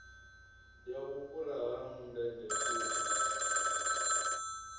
ya vhufhura ha mundende thundu